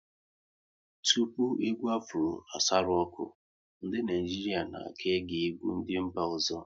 Tupu egwu Afro asaru ọkụ, ndị Naịjirịa na ka-ege egwu ndị mba ọzọ